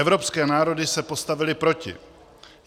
Evropské národy se postavily proti.